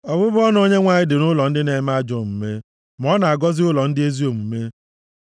Ọbụbụ ọnụ Onyenwe anyị dị nʼụlọ ndị na-eme ajọ omume, ma ọ na-agọzi ụlọ ndị ezi omume.